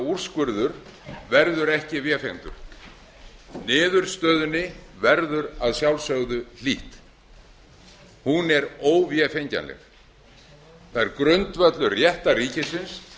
úrskurður verður ekki vefengdur niðurstöðunni verður að sjálfsögðu hlítt hún er óvefengjanleg það er grundvöllur réttarríkisins að fara að